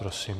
Prosím.